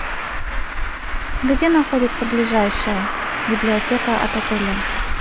где находится ближайшая библиотека от отеля